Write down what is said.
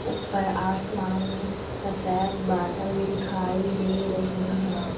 ऊपर आसमान में सफेद बादल दिखाई दे रहे हैं।